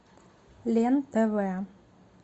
лен тв